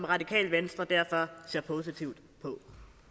radikale venstre derfor ser positivt på